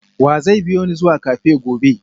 wa zai biyo ni zuwa cafe gobe?